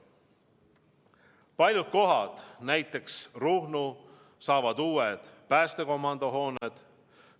Paljud kohad, näiteks Ruhnu, saavad uued päästekomando hooned.